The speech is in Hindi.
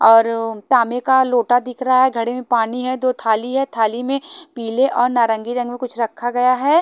और तांबे का लोटा दिख रहा है घड़े में पानी है दो थाली है थाली में पीले और नारंगी रंग में कुछ रखा गया है।